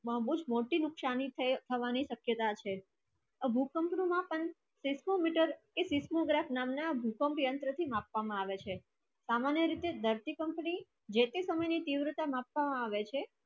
બહુ જ મોતી નુક્સાની થાયે થવાની શકયતા છે ભૂકંપ મા પન techno meterseismograph નામ ના ભૂકંપ યંત્ર થી માપવા આવે સામન્ય વિધિ ધરતીકંપ ની જાતી સમય ની ત્રિવતા માપવા આવે છે